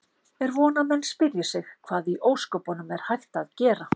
Er von að menn spyrji sig: Hvað í ósköpunum er hægt að gera?